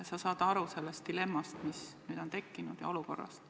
Sa saad ju aru sellest dilemmast, mis nüüd on tekkinud, ja sellest olukorrast.